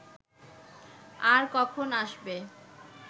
আর কখন আসবে